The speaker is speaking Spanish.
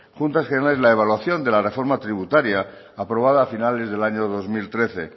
juntas generales la evaluación de la reforma tributaria aprobada a finales del año dos mil trece